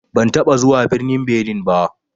Ban taɓa zuwa birnin Benin ba.